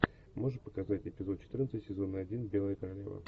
можешь показать эпизод четырнадцать сезона один белая королева